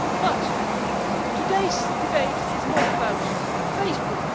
But today's debate is not about Facebook.